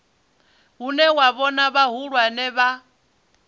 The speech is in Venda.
hune wa vhona vhahulwane vha